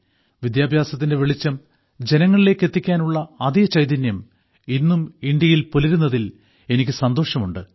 വിദ്യാഭ്യാസത്തിന്റെ വെളിച്ചം ജനങ്ങളിലേയ്ക്ക് എത്തിക്കാനുള്ള അതേ ചൈതന്യം ഇന്നും ഇന്ത്യയിൽ പുലരുന്നതിൽ എനിക്ക് സന്തോഷമുണ്ട്